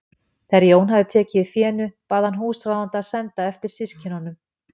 Þegar Jón hafði tekið við fénu bað hann húsráðanda að senda eftir systkinunum.